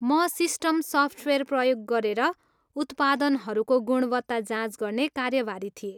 म system software प्रयोग गरेर उत्पादनहरूको गुणवत्ता जाँच गर्ने कार्यभारी थिएँ।